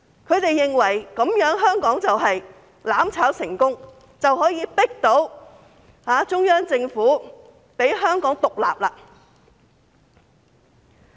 他們認為這樣香港便會"攬炒"成功，可以迫到中央政府讓香港獨立。